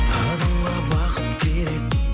адамға бақыт керек